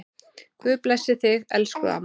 Guð blessi þig, elsku amma.